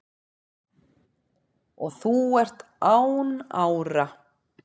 og þú ert án ára